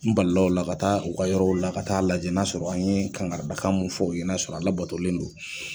N bali la u la ka taa u ka yɔrɔw la ka taa lajɛ n'a sɔrɔ an ye kankarida kan mun fɔ u ye n'a sɔrɔ a labatolen do.